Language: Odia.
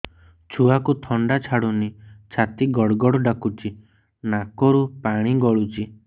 ଛୁଆକୁ ଥଣ୍ଡା ଛାଡୁନି ଛାତି ଗଡ୍ ଗଡ୍ ଡାକୁଚି ନାକରୁ ପାଣି ଗଳୁଚି